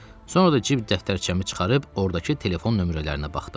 Sonra da cib dəftərçəmi çıxarıb ordakı telefon nömrələrinə baxdım.